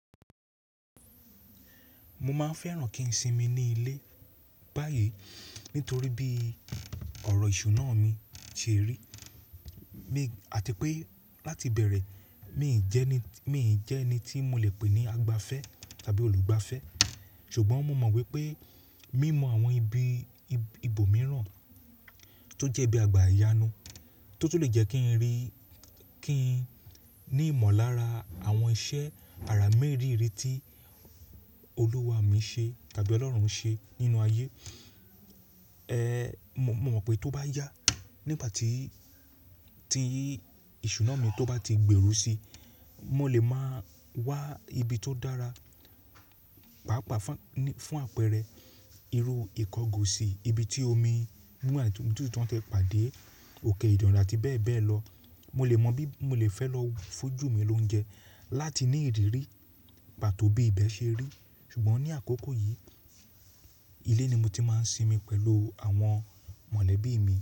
Mo máa ń fẹ́ràn kí n sinmi ní ilé báyìí nítorí bí ọ̀rọ̀ ìṣúná mi ṣe rí àti pé láti bẹ̀rẹ̀ mi ò jẹ́ ẹni tí mo lè pè ní àgbàfẹ́ tàbí olùgbàfẹ́. Ṣùgbọ́n mo mọ̀ wípé mímọ àwọn ibi ibòmíràn tó jẹ́ bí àgbà àyánu tó ti lè jẹ́ kín rí, kín ní ìmọ̀lára àwọn iṣẹ́ ara mẹ́rìírí tí Olúwa mi ṣe tàbí Ọlọ́run ṣe nínú ayé. Mo mọ̀ wípé tó bá yá nígbà tí, tí ìṣúná mi tó bá ti gbèrú si, mo lè máa wá ibi tó dára, pàápàá fún àpẹẹrẹ irú ìkọgò sì ibi tí omi mú àti títú tán tẹ pàdé òkè ìdànrà àti bẹ́ẹ̀ bẹ́ẹ̀ lọ. Mo lè mọ bí mo lè fẹ́ lọ fújù mi lóunjẹ láti ní ìrírí pàtó bí ibẹ̀ ṣe rí. Ṣùgbọ́n ní àkókò yìí, ilé ni mo ti máa ń sinmi pẹ̀lú àwọn mọ̀lẹ́bí mi.